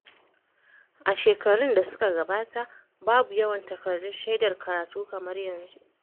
A shekarun da suka gabata, babu yawan takardun shaidar karatu kamar yanzu.